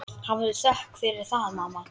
Hafðu þökk fyrir það, mamma.